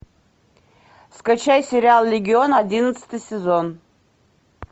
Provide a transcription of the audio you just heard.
скачай сериал легион одиннадцатый сезон